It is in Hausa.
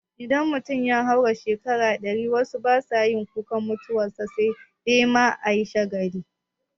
Idan mutum ya haura shekaru ɗari wasu basa yin kukan mutuwan sa sai dai ma ayi shagali